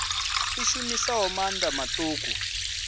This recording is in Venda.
i shumisaho maanḓa maṱuku a